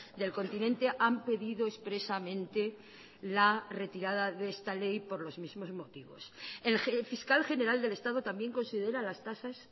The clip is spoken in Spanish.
del continente han pedido expresamente la retirada de esta ley por los mismos motivos el fiscal general del estado también considera las tasas